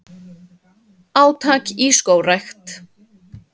Átak í skógrækt